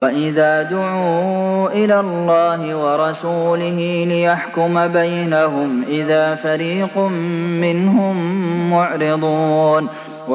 وَإِذَا دُعُوا إِلَى اللَّهِ وَرَسُولِهِ لِيَحْكُمَ بَيْنَهُمْ إِذَا فَرِيقٌ مِّنْهُم مُّعْرِضُونَ